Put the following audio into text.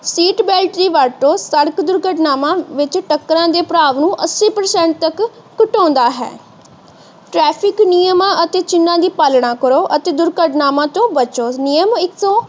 Seat belt ਦੀ ਵਰਤੋਂ ਸੜਕ ਦੁਰਘਟਨਾਵਾਂ ਵਿੱਚ ਟੱਕਰਾਂ ਦੇ ਪ੍ਰਭਾਵ ਨੂੰ ਅੱਸੀ ਪਰਸੈਂਟ ਤੱਕ ਘਟਾਉਂਦਾ ਹੈ। ਟ੍ਰੈਫ਼ਿਕ ਨਿਯਮਾਂ ਅਤੇ ਚਿਹਨਾਂ ਦੀ ਪਾਲਣਾ ਕਰੋ ਅਤੇ ਦੁਰਘਟਨਾਵਾਂ ਤੋਂ ਬਚੋ। ਨਿਯਮ ਏਕਸੋ